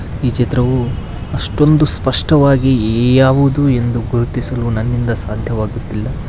ಈ ಚಿತ್ರವು ಅಷ್ಟೊಂದು ಸ್ಪಷ್ಟವಾಗಿ ಯ-ಯ-ಯಾವುದು ಎಂದು ಗುರುತಿಸಲು ನನ್ನಿಂದ ಸಾಧ್ಯಾಗುತ್ತಿಲ್ಲ.